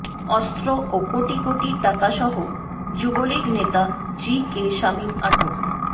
অস্ত্র ও কোটি কোটি টাকাসহ যুবলীগ নেতা জি কে শামীম আটক